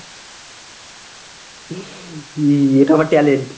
হুম, এটা আমার talent